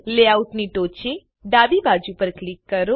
લેઆઉટની ટોચે ડાબી બાજુ પર ક્લિક કરો